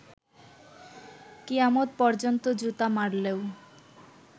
কিয়ামত পর্যন্ত জুতা মারলেও